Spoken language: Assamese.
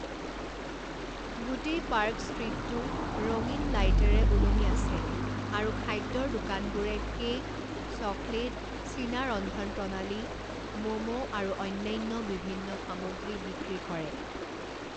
গোটেই পাৰ্ক ষ্ট্ৰীটটো ৰঙীন লাইটেৰে ওলমি আছে, আৰু খাদ্যৰ দোকানবোৰে কেক, চকলেট, চীনা ৰন্ধনপ্ৰণালী, মোমো আৰু অন্যান্য বিভিন্ন সামগ্ৰী বিক্ৰী কৰে।